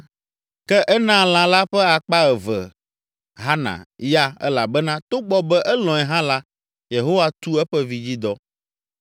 Ke enaa lã la ƒe akpa eve Hana ya elabena togbɔ be elɔ̃e hã la Yehowa tu eƒe vidzidɔ.